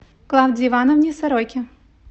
клавдии ивановне сороке